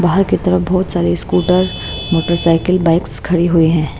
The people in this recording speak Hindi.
बाहर की तरफ बहुत सारे स्कूटर मोटरसाइकिल बाइक्स खड़ी हुई हैं।